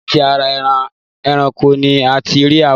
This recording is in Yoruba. láti ara eran ẹranko ni a ti rí àwọ̀